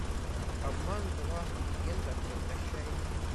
обман два легенда возвращается